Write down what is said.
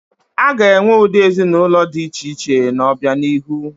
A ga-enwe ụdị ezinaụlọ dị iche iche n'obianihu.